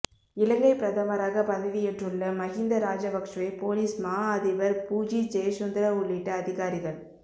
இலங்கைப் பிரதமராக பதவியேற்றுள்ள மஹிந்த ராஜபக்ஷவை பொலிஸ் மா அதிபர் பூஜித் ஜயசுந்தர உள்ளிட்ட அதிகாரிகள